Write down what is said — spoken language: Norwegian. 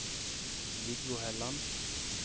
Viggo Helland